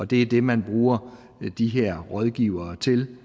det er det man bruger de her rådgivere til